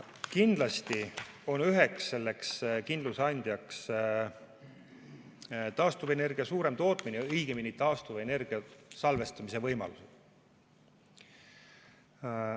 Kindlasti on üheks kindluse andjaks suurem taastuvenergiatootmine, õigemini taastuvenergia salvestamise võimalused.